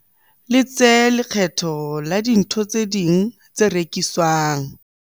letse lekgetho la dintho tse ding tse rekiswang.